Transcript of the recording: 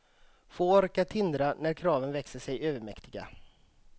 Få orkar tindra när kraven växer sig övermäktiga.